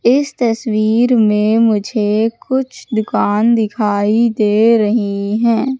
इस तस्वीर में मुझे कुछ दुकान दिखाई दे रही हैं।